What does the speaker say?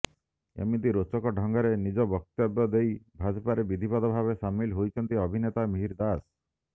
ଏମିତି ରୋଚକ ଢଙ୍ଗରେ ନିଜ ବକ୍ତବ୍ୟ ଦେଇ ଭାଜପାରେ ବିଧିବଦ୍ଧ ଭାବେ ସାମିଲ ହୋଇଛନ୍ତି ଅଭିନେତା ମିହିର ଦାସ